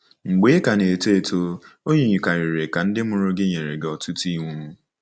Mgbe ị ka na-eto eto, o yikarịrị ka ndị mụrụ gị nyere gị ọtụtụ iwu.